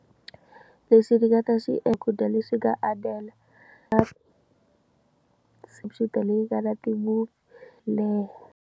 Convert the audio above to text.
Lexi ni nga ta xi eku dya ka andlela computer leyi ngana ti-movie leyi.